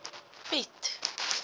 piet